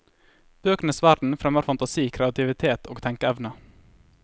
Bøkenes verden fremmer fantasi, kreativitet og tenkeevne.